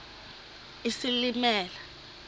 isilimela